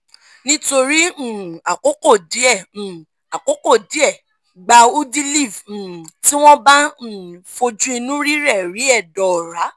nítorí um àkókò díẹ̀ um àkókò díẹ̀ gba udiliv um tí wọ́n bá um fojú inú rírẹ́ẹ̀ rí ẹdọ ọ̀ra